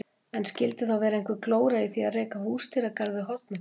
En skildi þá vera einhver glóra í því að reka húsdýragarð við Hornafjörð?